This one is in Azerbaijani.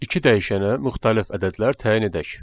İki dəyişənə müxtəlif ədədlər təyin edək.